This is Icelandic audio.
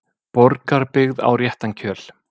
Borgarbyggð á réttan kjöl